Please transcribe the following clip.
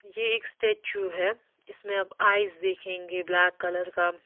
ये एक स्टेच्यू है इसमें आप आईस देखेंगे ब्लैक कलर का।